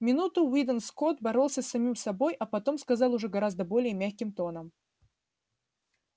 минуту уидон скотт боролся с самим собой а потом сказал уже гораздо более мягким тоном